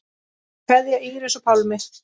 Kveðja, Íris og Pálmi.